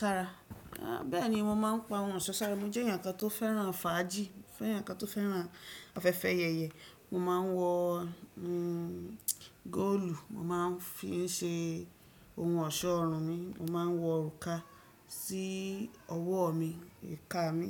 Sára? Béèni mo máa ń pa ohun ọ̀ṣọ́ sára. Mo jẹ́ ẹ̀yàn kan tó fẹ́ràn fàájì, mo fẹ́ràn ẹ̀yàn kan tó fẹ́ràn afẹ́fẹ́ ayẹyẹ. Mo máa ń wọ, hmm, góòlù, mo máa ń fi ń ṣe ohun ọ̀ṣọ́ ọrùn mi, mo máa ń wọ òrùka sí ọwọ́ mi, ìka mi.